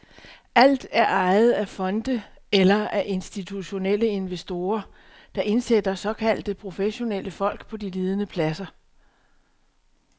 Alt er ejet af fonde eller af institutionelle investorer, der indsætter såkaldte professionelle folk på de ledende pladser.